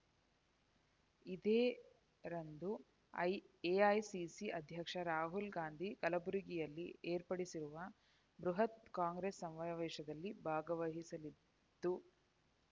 ಇದೇ ರಂದು ಎಐಸಿಸಿ ಅಧ್ಯಕ್ಷ ರಾಹುಲ್ ಗಾಂಧಿ ಕಲಬುರಗಿಯಲ್ಲಿ ಏರ್ಪಡಿಸಿರುವ ಬೃಹತ್ ಕಾಂಗ್ರೆಸ್ ಸಮಾವೇಶದಲ್ಲಿ ಭಾಗವಹಿಸಲಿದ್ದು